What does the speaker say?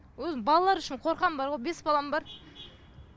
өзім балалар үшін қорқамын бар ғой бес балам бар